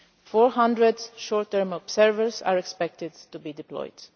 Four hundred short term observers are expected to be deployed.